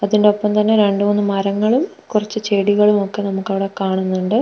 അതിന്റെ ഒപ്പം തന്നെ രണ്ടു മൂന്ന് മരങ്ങളും കുറച്ച് ചെടികളും ഒക്കെ നമുക്ക് അവിടെ കാണുന്നുണ്ട്.